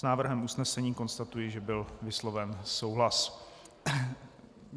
S návrhem usnesení konstatuji, že byl vysloven souhlas.